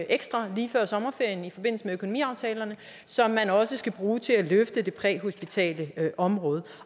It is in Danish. ekstra lige før sommerferien i forbindelse med økonomiaftalerne som man også skal bruge til at løfte det præhospitale område